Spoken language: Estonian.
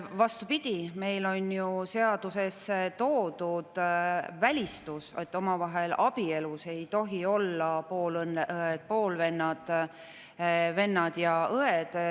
Vastupidi, meil on seaduses välistus, et omavahel ei tohi olla abielus poolõed, poolvennad, vennad ja õed.